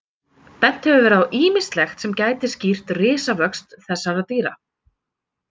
Bent hefur verið á ýmislegt sem gæti skýrt risavöxt þessara dýra.